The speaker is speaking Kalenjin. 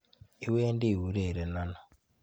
Iwendi iurerene ano?